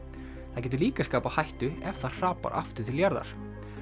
það getur líka skapað hættu ef það hrapar aftur til jarðar